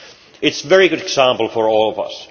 It is a very good example to all of us.